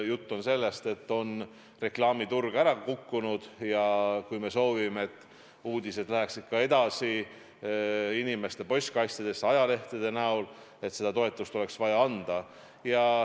Jutt on sellest, et reklaamiturg on ära kukkunud, ja kui me soovime, et uudised läheksid ka edaspidi ajalehtede kujul inimeste postkastidesse, siis seda toetust oleks vaja anda.